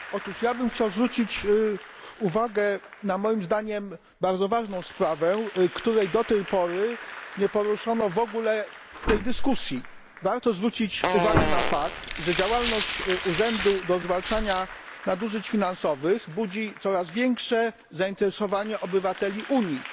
Panie Przewodniczący! Chciałbym zwrócić uwagę na moim zdaniem bardzo ważną sprawę, której do tej pory nie poruszono w ogóle w tej dyskusji. Warto zwrócić uwagę na fakt, że działalność Urzędu ds. Zwalczania Nadużyć Finansowych budzi coraz większe zainteresowanie obywateli Unii.